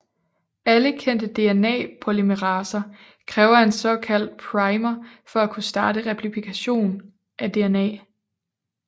Alle kendte DNA polymeraser kræver en såkaldt primer for at kunne starte replikation af DNA